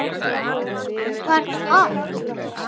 Um hvað ertu að tala?